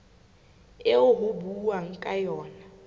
eo ho buuwang ka yona